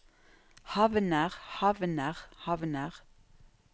havner havner havner